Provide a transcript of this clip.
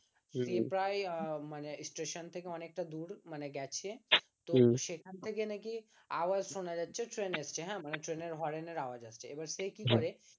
প্রায় মানে স্টেশন থেকে অনেকটা দূর মানে গেছে তো সেখান থেকে নাকি আওয়াজ শোনা যাচ্ছে ট্রেনে আসছে মানে ট্রেনের হর্নের আওয়াজ আসছে এবার সে কি করে